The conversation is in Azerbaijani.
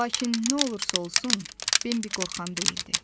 Lakin nə olursa olsun, Bembi qorxan deyildi.